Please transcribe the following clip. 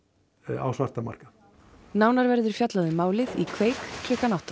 á svartan markað nánar verður fjallað um málið í kveik klukkan átta